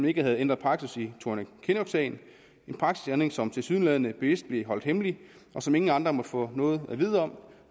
ikke havde ændret praksis i thorning kinnock sagen en praksisændring som tilsyneladende bevidst blev holdt hemmeligt og som ingen andre måtte få noget at vide om